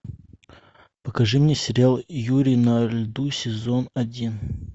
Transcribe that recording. покажи мне сериал юрий на льду сезон один